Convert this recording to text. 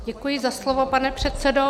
Děkuji za slovo, pane předsedo.